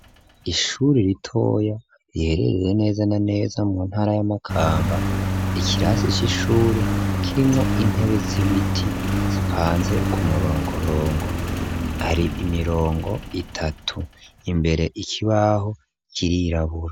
Ishuri ritoya riherereye neza na neza mu ntara ya Makamba, ikirasi c'ishure kirimwo intebe z'ibiti zipanze ku murongorongo, hari imirongo itatu, imbere ikibaho kirirabura.